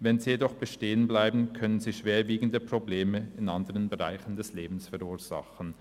wenn sie jedoch bestehen bleiben, können sie schwerwiegende Probleme in anderen Bereichen des Lebens verursachen.